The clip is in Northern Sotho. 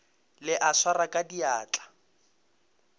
ka e swara ka diatla